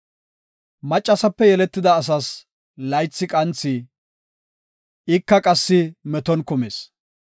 “Maccasape yeletida asas laythi qanthi; ika qassi meton kumis.